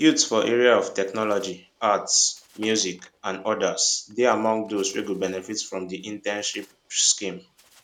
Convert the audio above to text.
youths for area of technology arts music and odas dey among dose wey go benefit for di internship scheme